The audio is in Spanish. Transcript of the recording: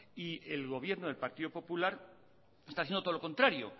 y el gobierno del partido popular está haciendo todo lo contrario